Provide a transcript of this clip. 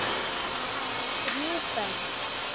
Hann á þrjú börn.